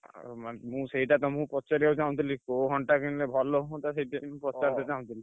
ଆଉ ମାନେ ମୁଁ ସେଇଟା ତମୁକୁ ପଚାରିବାକୁ ଚାହୁଁଥିଲି କୋଉ ଘଣ୍ଟା କିଣିଲେ ଭଲ ହୁଅନ୍ତା ସେଇଥିପାଇଁ ମୁଁ ପଚାରି ଚାହୁଁଥିଲି।